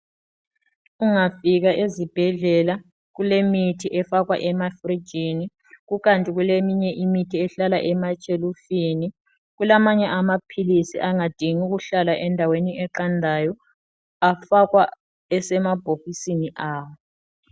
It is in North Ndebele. Ungafika ezibhedlela kulemithi efakwa emafrijini, kukanti kuleminye imithi ehlala emashelufini. Kulamanye amaphilisi angading' ukuhlala endaweni eqandayo. Afakwa esemabhokisini awo.